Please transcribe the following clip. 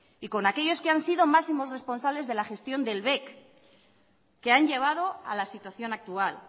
y con aquellos que han sido máximos responsables de la gestión del bec que han llevado a la situación actual